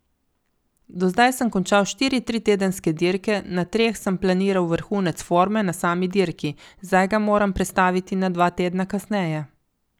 Do zdaj sem končal štiri tritedenske dirke, na treh sem planiral vrhunec forme na sami dirki, zdaj ga moram prestaviti na dva tedna kasneje.